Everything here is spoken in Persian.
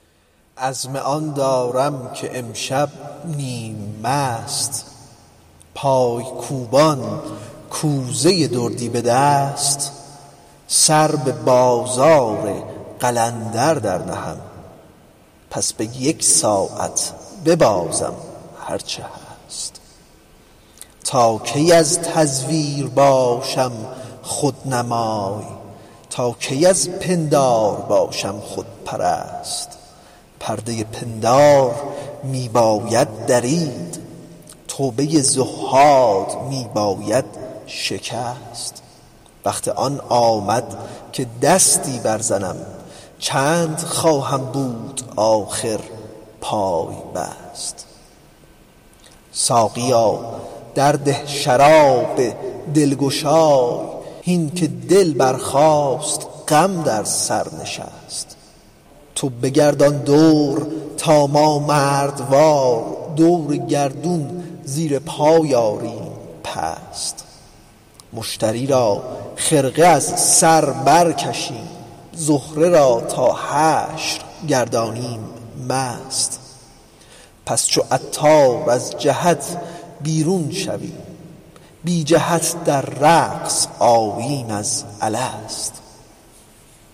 عزم آن دارم که امشب نیم مست پای کوبان کوزه دردی به دست سر به بازار قلندر برنهم پس به یک ساعت ببازم هرچه هست تا کی از تزویر باشم رهنمای تا کی از پندار باشم خودپرست پرده پندار می باید درید توبه تزویر می باید شکست وقت آن آمد که دستی برزنم چند خواهم بودن آخر پای بست ساقیا درده شرابی دلگشای هین که دل برخاست غم بر سر نشست تو بگردان دور تا ما مردوار دور گردون زیر پای آریم پست مشتری را خرقه از بر برکشیم زهره را تا حشر گردانیم مست همچو عطار از جهت بیرون شویم بی جهت در رقص آییم از الست